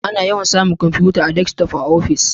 Ana yawan samun kwamfutar Desktop a ofis